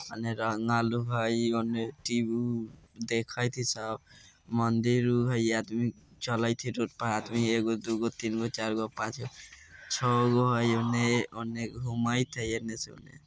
अँधेरा हना लोग हई होन्ने टी.वी. देखत हई सब मंदिर उर हई आदमी चलत हई रोड पर आदमी एगो दुगो तीनगो चारगो पाँचगो छगो हई एन्ने ओन्ने घुमत हई एन्ने से ओन्ने।